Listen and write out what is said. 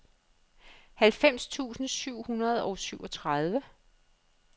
halvfems tusind syv hundrede og syvogtredive